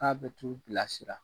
Aa be t'u bilasira